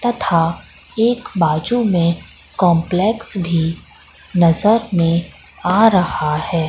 तथा एक बाजू में कंपलेक्स भी नजर में आ रहा हैं।